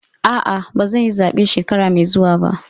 A'a, ba zan yi zabe shekara mai zuwa ba.